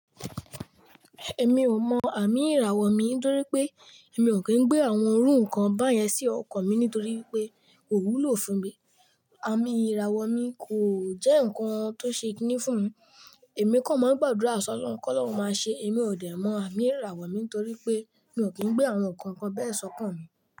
Èmi ò mọ àmì ìràwọ̀ mi nítorí pé èmi ò kí ń gbé àwọn orú nǹkan báyẹn sí ọkọ̀ mi nítorí pé kò wúlò fún mi. Àmì ìràwọ̀ mi kò jẹ́ ǹkan tó ṣe kíni fún mi, èmi kan mọ ń gbàdúrà sọ́lọ́hun, kí Ọlọ́run máa ṣe. Èmi ò dẹ̀ mọ àmì ìràwọ̀ mi nítorí pé mi ò kí ń gbé àwọn ǹkan kan bẹ́ẹ̀ sókàn mi.